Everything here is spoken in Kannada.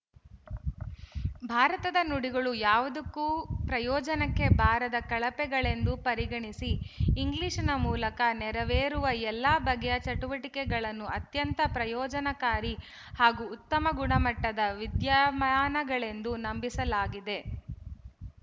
ಭಾರತದ ನುಡಿಗಳು ಯಾವುದಕ್ಕೂ ಪ್ರಯೋಜನಕ್ಕೆ ಬಾರದ ಕಳಪೆಗಳೆಂದು ಪರಿಗಣಿಸಿ ಇಂಗ್ಲಿಶಿನ ಮೂಲಕ ನೆರವೇರುವ ಎಲ್ಲ ಬಗೆಯ ಚಟುವಟಿಕೆಗಳನ್ನು ಅತ್ಯಂತ ಪ್ರಯೋಜನಕಾರಿ ಹಾಗೂ ಉತ್ತಮ ಗುಣಮಟ್ಟದ ವಿದ್ಯಮಾನಗಳೆಂದು ನಂಬಿಸಲಾಗಿದೆ